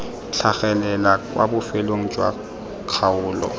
tlhagelela kwa bofelong jwa kgaolo